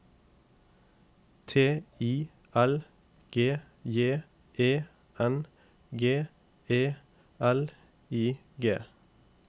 T I L G J E N G E L I G